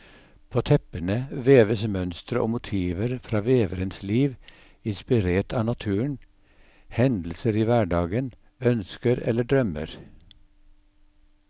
På teppene veves mønstre og motiver fra veverens liv, inspirert av naturen, hendelser i hverdagen, ønsker eller drømmer.